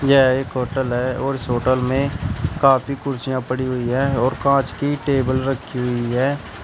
यह एक होटल है और इस होटल में काफी कुर्सियां पड़ी हुई हैं और कांच की टेबल रखी हुई है।